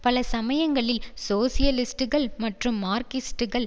பல சமயங்களில் சோசியலிஸ்டுகள் மற்றும் மார்க்சிஸ்டுகள்